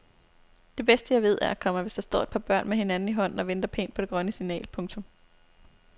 Det bedste jeg ved er, komma hvis der står et par børn med hinanden i hånden og venter pænt på det grønne signal. punktum